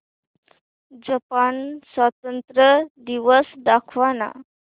Japan स्वातंत्र्य दिवस दाखव ना